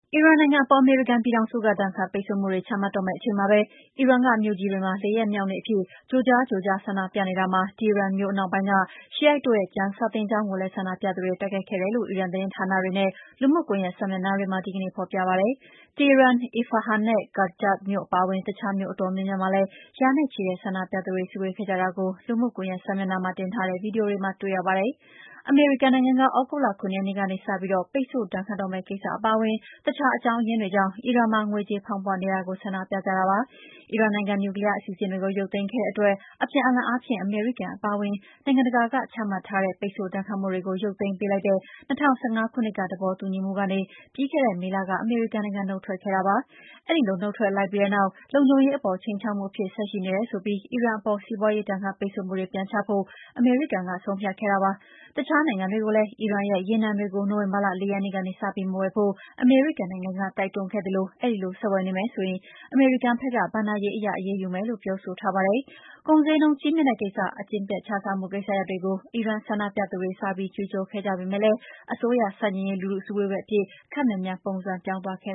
အီရန်နိုင်ငံအပေါ် အမေရိကန်ပြည်ထောင်စုက ဒဏ်ခတ်ပိတ်ဆို့မှုတွေ ချမှတ်တော့မယ့်အချိန်မှာပဲ အီရန် မြို့ကြီးတွေမှာ လေးရက်မြောက် နေ့အဖြစ် ကြိုကြားကြိုကြား ဆန္ဒပြနေကြတာမှာ Tehran မြို့အနောက်ပိုင်းက Shiite တို့ရဲ့ကျမ်းစာသင်ကျောင်းကိုလည်း ဆန္ဒပြသူတွေ တိုက်ခိုက်ခဲ့ကြတယ်လို့ အီရန် သတင်းဌာနတွေနဲ့ လူမှုကွန်ယက်စာမျက်နှာတွေမှာ ဒီကနေ့ ဖော်ပြပါတယ်။ Tehran, Isfahan နဲ့ Karaj မြို့အပါအဝင် အခြားမြို့အတော်များများမှာလည်း ရာနဲ့ချီတဲ့ ဆန္ဒပြသူတွေ စုဝေးခဲ့ကြတာကို လူမှုကွန်ယက်စာမျက်နှာမှာ တင်ထားတဲ့ဗွီဒီယိုတွေမှာ တွေ့ရပါတယ်။ အမေရိကန်က သြဂုတ်လ ၇ ရက်နေ့ကစပြီး ပိတ်ဆို့ဒဏ်ခတ်မယ့်ကိစ္စအပါအဝင် အခြားအကြောင်းရင်းတွေကြောင့် အီရန်မှာ ငွေကြေးဖောင်းပွနေတာကို ဆန္ဒပြကြတာပါ။ အီရန်နိုင်ငံ နျူကလီယားအစီအစဉ်တွေကို ရုပ်သိမ်းခဲ့တဲ့အတွက် အပြန်အလှန်အားဖြင့် အမေရိကန်အပါအဝင် နိုင်ငံတကာက ချမှတ်ထားတဲ့ ပိတ်ဆို့ဒဏ်ခတ်မှုတွေကိုရုပ်သိမ်းပေးလိုက်တဲ့ ၂၀၁၅ သဘောတူညီမှုကနေ ပြီးခဲ့တဲ့မေလက အမေရိကန်နုတ်ထွက်ခဲ့တာပါ။ ဒီလိုနုတ်ထွက်လိုက်ပြီးတဲ့အနောက် လုံခြုံရေးအပေါ် ခြိမ်းခြောက်မှုအဖြစ် ဆက်ရှိနေတယ်ဆိုပြီး အီရန်အပေါ် စီးပွါးရေးဒဏ်ခတ်ပိတ်ဆို့မှုတွေပြန်ချဖို့ အမေရိကန်က ဆုံးဖြတ်ခဲ့ပါတယ်။ အခြားနိုင်ငံတွေကိုလည်း အီရန်ရဲ့ ရေနံတွေကို နိုဝင်ဘာလ ၄ ရက်နေ့ကစပြီး မဝယ်ဖို့ တိုက်တွန်းခဲ့သလိုဒီလို ဆက်ဝယ်မယ်ဆိုရင် အမေရိကန်ဘက်က ဘဏ္ဍာရေးအရ အရေးယူမယ်လို့ ပြောဆိုထားပါတယ်။ ကုန်ဈေးနှုန်းကြီးမြင့်တဲ့ ကိစ္စ၊ အကျင့်ပျက်ခြစားမှု ကိစ္စရပ်တွေကို ဆန္ဒပြသူတွေ စပြီး ကြွေးကြော်ခဲ့ကြပေမယ့်အစိုးရဆန့်ကျင်ရေး လူထုစုဝေး ပွဲအဖြစ် ခပ်မြန်မြန်ပုံစံပြောင်းသွားခဲ့